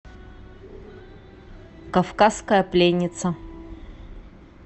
кавказская пленница